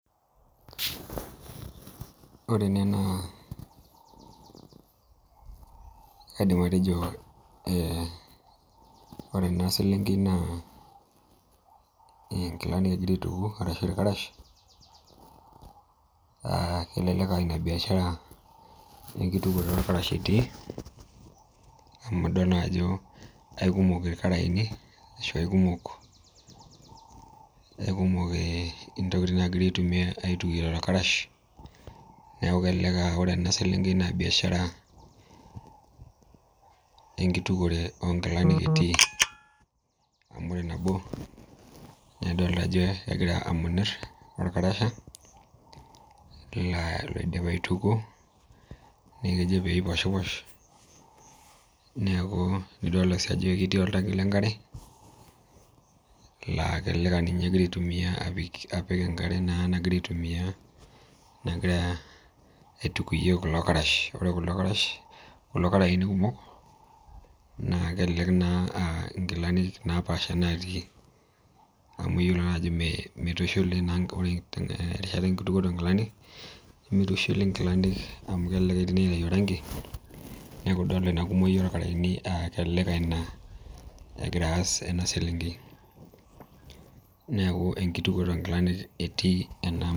Ore ene naa kaidim atejo eh ore ena selenkei naa eh inkilanik egira aituku arashi irkarash uh kelelek uh ina biashara enkitukuore orkarash etii amu idol naa ajo aiukumok irkarayeni ashu aikumok aikumok eh intokiting nagira aitumia aitukie lelo karash neku kelelek aa ore ena selenkei naa biashara enkitukuore onkilanik etii amu ore nabo naidolta ajo kegira amonirr orkarasha laa loidipa aitukuo neeku kejo peiposhiposh neeku nidolta sii ajo ketii oltanki lenkare laa kelelek aninye egira aitumia apik apik enkare naa nagira aitumiyia nagira aitukuyie kulo karash ore kulo karash kulo karayeni kumok naa kelelek naa uh inkilanik napaasha natii amu iyiolo naa ajo mei meitushuli naa ore terishata enkitukuoto onkilani nemitushuli inkilanik amu kelelek etii naitayu orangi neku idolta ina kumoki orkarayeni uh kelelek uh ina egira aas ena selenkei neku enkitukuoto onkilanik etii ena.